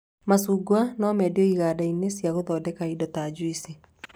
Macungwa no mendio ĩganda-inĩ cia gũthondeka indo ta juici